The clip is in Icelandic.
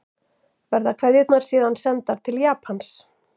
Verða kveðjurnar síðan sendar til Japans